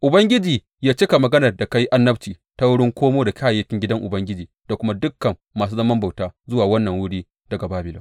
Ubangiji yă cika maganar da ka yi annabci ta wurin komo da kayayyakin gidan Ubangiji da kuma dukan masu zaman bauta zuwa wannan wuri daga Babilon.